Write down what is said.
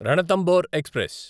Ranthambore express